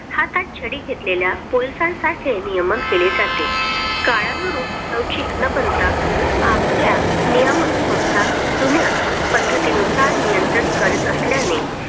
हातात छडी घेतलेल्या Police सारखे नियमन केले जाते. काळानुरूप लवचिक न बनता आपल्या नियमक संस्था जुन्या पद्धतीने नुसार नियंत्रित करत असल्याने